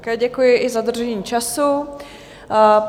Také děkuji, i za dodržení času.